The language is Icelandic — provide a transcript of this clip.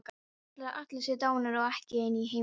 Ætli allir séu dánir og ég einn í heiminum?